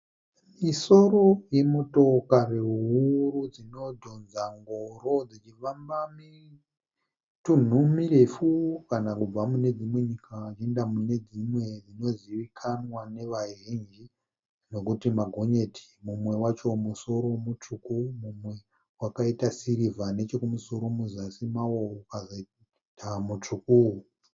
Misoro yemotokari huru dzinodhonza ngoro dzichifamba mitunhu mirefu kana kubva munedzimwe nyika vachiinda munedzimwe. Dzinozivikanwa nevazhinji nokuti magonyeti. Mumwe wacho musoro mutsvuku mumwe wakaita sirivha nechokumusoro muzasi mawo ukazoita mutsvuku.